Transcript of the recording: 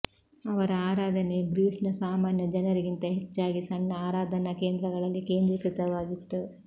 ಅವರ ಆರಾಧನೆಯು ಗ್ರೀಸ್ನ ಸಾಮಾನ್ಯ ಜನರಿಗಿಂತ ಹೆಚ್ಚಾಗಿ ಸಣ್ಣ ಆರಾಧನಾ ಕೇಂದ್ರಗಳಲ್ಲಿ ಕೇಂದ್ರೀಕೃತವಾಗಿತ್ತು